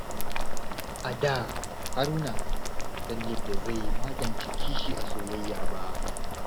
A da, Haruna bai san yadda zai magance kishi a soyayya ba.